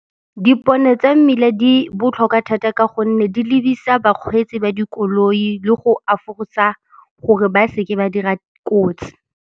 Dipone tsa mmila di botlhokwa thata ka gonne di lebisa bakgweetsi ba dikoloi le go afosa gore ba seke ba dira kotsi.